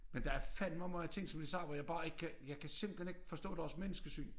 Men der er fandme mange ting som de siger hvor jeg kan bare ikke kan jeg kan simpelthen ikke forstå deres menneskesyn